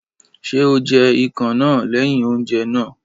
Ṣé o jẹ ikàn náà lẹ́yìn oúnjẹ náà?